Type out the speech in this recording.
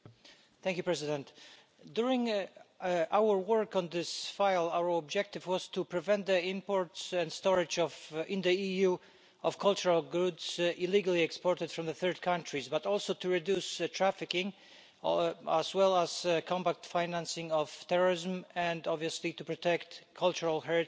Mr President, during our work on this file, our objective was to prevent the import into and storage in the EU of cultural goods illegally exported from third countries, but also to reduce trafficking and combat financing of terrorism and, obviously, to protect cultural heritage,